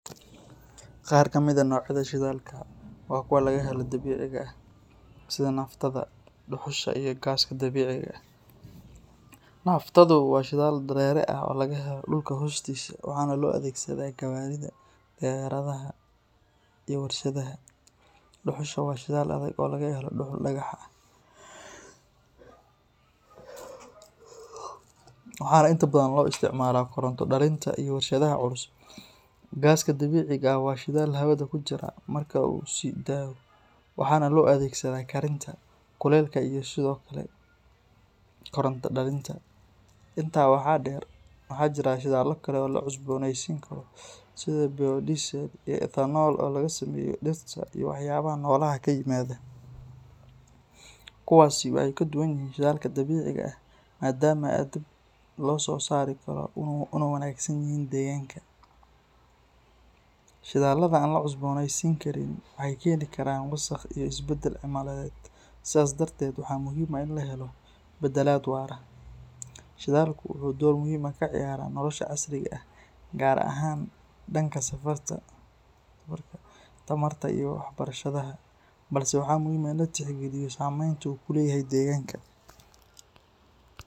Qaar ka mid ah noocyada shidaalka waa kuwa laga helo dabiiciga sida naftada, dhuxusha iyo gaaska dabiiciga ah. Naftadu waa shidaal dareere ah oo laga helo dhulka hoostiisa, waxaana loo adeegsadaa gawaarida, diyaaradaha iyo warshadaha. Dhuxusha waa shidaal adag oo laga helo dhuxul dhagax ah, waxaana inta badan loo isticmaalaa koronto-dhalinta iyo warshadaha culus. Gaaska dabiiciga ah waa shidaal hawada ku jira marka uu la sii daayo, waxaana loo adeegsadaa karinta, kuleylka iyo sidoo kale koronto-dhalinta. Intaa waxaa dheer, waxaa jira shidaallo kale oo la cusboonaysiin karo sida biodiesel iyo ethanol oo laga sameeyo dhirta iyo waxyaabaha noolaha ka yimaada. Kuwaasi waxay ka duwan yihiin shidaalka dabiiciga ah maadaama ay dib loo soo saari karo una wanaagsan yihiin deegaanka. Shidaallada aan la cusboonaysiin karin waxay keeni karaan wasakh iyo isbeddel cimiladeed, sidaa darteed waxaa muhiim ah in la helo beddelaad waara. Shidaalku wuxuu door muhiim ah ka ciyaaraa nolosha casriga ah, gaar ahaan dhanka safarka, tamarta iyo warshadaha, balse waxaa muhiim ah in la tixgeliyo saameynta uu ku leeyahay deegaanka.